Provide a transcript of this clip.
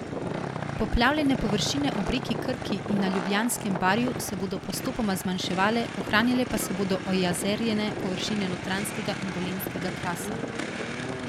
Poplavljene površine ob reki Krki in na Ljubljanskem barju se bodo postopoma zmanjševale, ohranjale pa se bodo ojezerjene površine Notranjskega in Dolenjskega krasa.